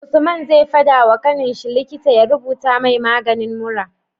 Usman zai fada wa kaninshi likita ya rubuta mai maganin mura